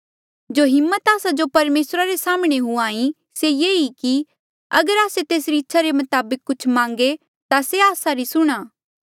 जो हिम्मत आस्सा जो परमेसरा रे साम्हणें हुंहां ईं से ये ई कि अगर आस्से तेसरी इच्छा रे मताबक कुछ मांगे ता से आस्सा री सुणहां